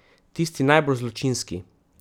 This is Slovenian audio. Tisti najbolj zločinski.